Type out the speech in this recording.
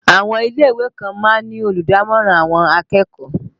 Àwọn ilé ìwé kan máa ń ní olùdámọ̀ràn àwọn akẹ́kọ̀ọ́